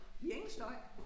Vi har ingen støj